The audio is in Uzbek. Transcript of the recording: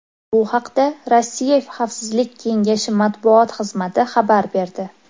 Bu haqda Rossiya xavfsizlik kengashi matbuot xizmati xabar berdi .